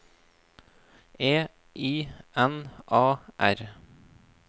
E I N A R